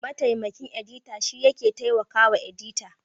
Mataimakin edita shine yake taimakawa edita.